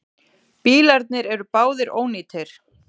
Bílarnir eru báðir ónýtir.